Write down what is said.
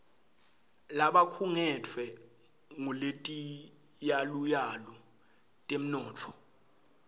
labakhungetfwe nguletiyaluyalu tetemnotfo